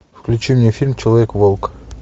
включи мне фильм человек волк